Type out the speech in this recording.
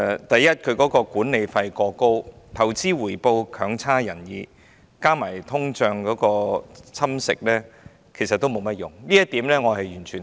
第一，其管理費過高，投資回報強差人意，加上通脹蠶食，其實並無甚麼作用，這一點我完全贊同。